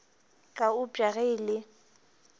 ka eupša ge e le